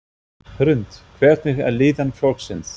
Hrund: Hvernig er líðan fólksins?